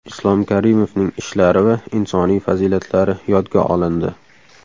Islom Karimovning ishlari va insoniy fazilatlari yodga olindi.